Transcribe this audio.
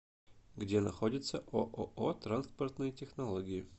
где находится ооо транспортные технологии